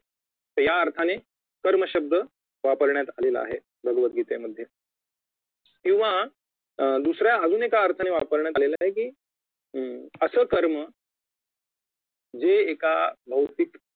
या अर्थाने कर्म शब्द वापरण्यात आलेला आहे भगवतगीतेमध्ये किंवा दुसऱ्या अजून एका अर्थाने वापरण्यात आला आहे की अं असं कर्म जे एका भौतिक